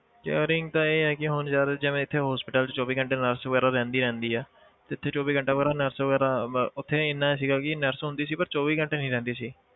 Caring ਤਾਂ ਇਹ ਹੈ ਕਿ ਹੁਣ ਯਾਰ ਜਿਵੇਂ ਇੱਥੇ hospital 'ਚ ਚੌਵੀ ਘੰਟੇ nurse ਵਗ਼ੈਰਾ ਰਹਿੰਦੀ ਰਹਿੰਦੀ ਹੈ ਇੱਥੇ ਚੌਵੀ ਘੰਟੇ nurse ਵਗ਼ੈਰਾ ਮ~ ਉੱਥੇ ਇੰਨਾ ਸੀਗਾ ਕਿ nurse ਹੁੰਦੀ ਸੀ but ਚੌਵੀ ਘੰਟੇ ਨੀ ਰਹਿੰਦੀ ਸੀ